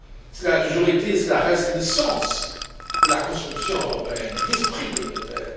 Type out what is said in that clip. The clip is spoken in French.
Cela a toujours été et cela reste le sens de la construction européenne et de l'esprit communautaire.